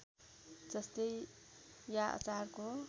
जस्तै या अचारको